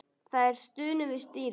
Það er stunið við stýrið.